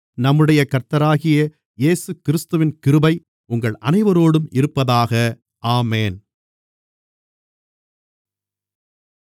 நம்முடைய கர்த்தராகிய இயேசுகிறிஸ்துவின் கிருபை உங்கள் அனைவரோடும் இருப்பதாக ஆமென்